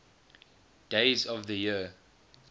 days of the year